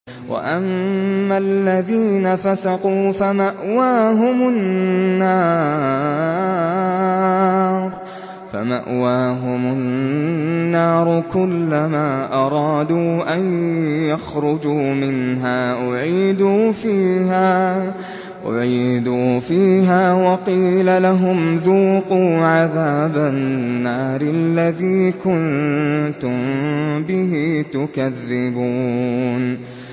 وَأَمَّا الَّذِينَ فَسَقُوا فَمَأْوَاهُمُ النَّارُ ۖ كُلَّمَا أَرَادُوا أَن يَخْرُجُوا مِنْهَا أُعِيدُوا فِيهَا وَقِيلَ لَهُمْ ذُوقُوا عَذَابَ النَّارِ الَّذِي كُنتُم بِهِ تُكَذِّبُونَ